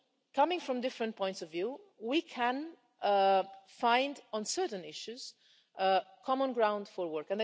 Coming from different points of view, we can on certain issues find common ground for work.